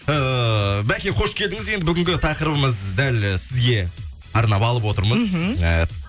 ыыы бәке қош келдіңіз енді бүгінгі тақырыбымыз дәл сізге арнап алып отырмыз мхм ыыы